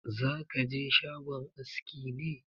Za ka je shagon aski ne?